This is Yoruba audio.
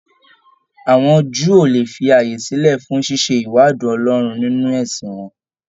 Àwọn Júù ó le fi ààyè sílẹ fún ṣíṣe ìwádìí Ọlọ́run nínú ẹ̀sìn wọn.